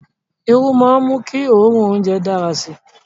Iru maa n mu ki oorun ounjẹ dara si